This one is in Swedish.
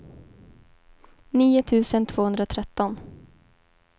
nio tusen tvåhundratretton